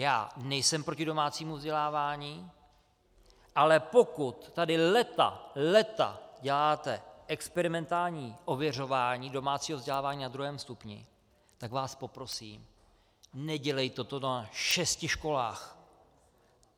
Já nejsem proti domácímu vzdělávání, ale pokud tady léta, léta děláte experimentální ověřování domácího vzdělávání na druhém stupni, tak vás poprosím, nedělejte to na šesti školách.